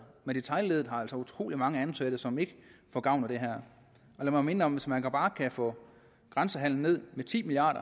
men detailleddet har altså utrolig mange ansatte som ikke får gavn af det her lad mig minde om at hvis man bare kan få grænsehandelen ned med ti milliard